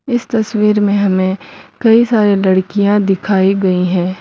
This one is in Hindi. इस तस्वीर में हमें कई सारी लड़कियां दिखाई गई हैं।